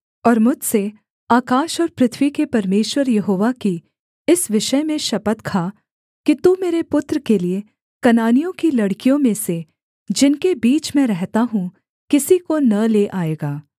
और मुझसे आकाश और पृथ्वी के परमेश्वर यहोवा की इस विषय में शपथ खा कि तू मेरे पुत्र के लिये कनानियों की लड़कियों में से जिनके बीच मैं रहता हूँ किसी को न ले आएगा